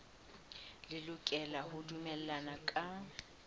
le lokela ho dumellana ka